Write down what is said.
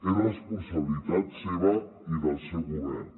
és responsabilitat seva i del seu govern